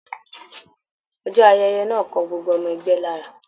Ọjọ́ ayẹyẹ náà kàn gbogbo ọmọ ẹgbẹ́ lára